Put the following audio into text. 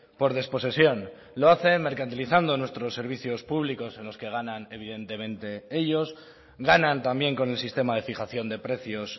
por desposesión lo hacen mercantilizando nuestros servicios públicos en los que ganan evidentemente ellos ganan también con el sistema de fijación de precios